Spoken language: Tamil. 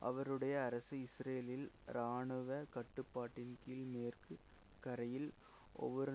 அவருடைய அரசு இஸ்ரேலில் இராணுவ கட்டுப்பாட்டின்கீழ் மேற்கு கரையில் ஒவ்வொரு